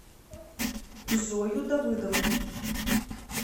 зою давыдовну